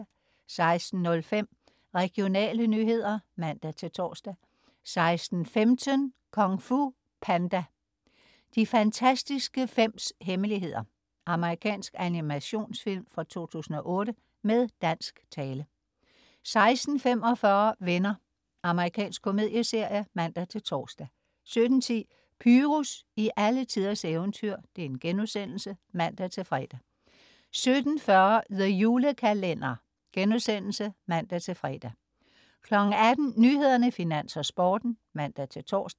16.05 Regionale nyheder (man-tors) 16.15 Kung Fu Panda: De fantastiske fems hemmeligheder. Amerikansk animationsfilm fra 2008 med dansk tale 16.45 Venner. Amerikansk komedieserie (man-tors) 17.10 Pyrus i alletiders eventyr* (man-fre) 17.40 The Julekalender* (man-fre) 18.00 Nyhederne, Finans og Sporten (man-tors)